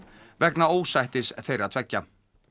vegna ósættis þeirra tveggja